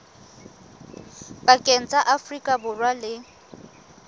pakeng tsa afrika borwa le